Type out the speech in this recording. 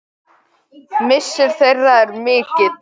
Missir þeirra er mikill.